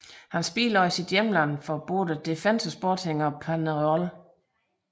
Han spillede også i sit hjemland hos både Defensor Sporting og Peñarol